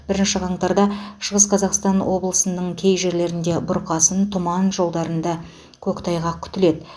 бірінші қаңтарда шығыс қазақстан облысының кей жерлерде бұрқасын тұман жолдарында көктайғақ күтіледі